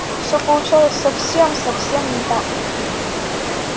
всё получалось совсем совсем не так